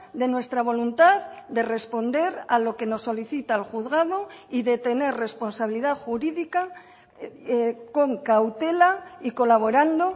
de nuestra voluntad de responder a lo que nos solicita el juzgado y de tener responsabilidad jurídica con cautela y colaborando